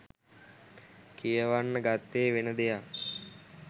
කියවන්න ගත්තෙ වෙන දෙයක්.